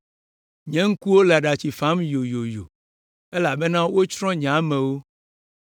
Nye ŋkuwo le aɖatsi fam yoyoyo elabena wotsrɔ̃ nye amewo.